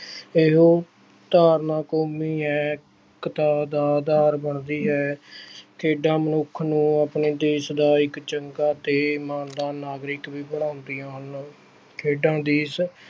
ਇਹੋ ਧਾਰਨਾ ਕੌਮੀ ਹੈ, ਏਕਤਾ ਦਾ ਆਧਾਰ ਬਣਦੀ ਹੈ ਖੇਡਾਂ ਮਨੁੱਖ ਨੂੰ ਆਪਣੇ ਦੇਸ ਦਾ ਇੱਕ ਚੰਗਾ ਤੇ ਇਮਾਨਦਾਰ ਨਾਗਰਿਕ ਵੀ ਬਣਾਉਂਦੀਆਂ ਹਨ ਖੇਡਾਂ